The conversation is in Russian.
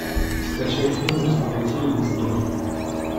скачай фильм разбогатей или сдохни